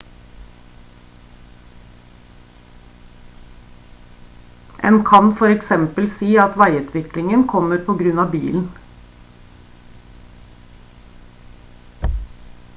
en kan for eksempel si at veiutviklingen kommer på grunn av bilen